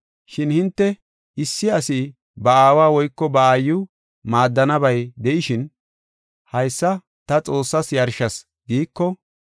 Shin hinte, issi asi ba aawa woyko ba aayiw maaddanabay de7ishin, ‘Haysa ta Xoossas yarshas giiko,